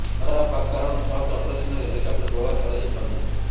ଖରାପ ପାଗ କାରଣରୁ ସର୍ଚ୍ଚ ଅପରେସନ୍ରେ ହେଲିକପ୍ଟର ବ୍ୟବହାର କରାଯାଇପାରୁନାହିଁ